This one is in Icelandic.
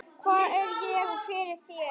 Hvað er ég fyrir þér?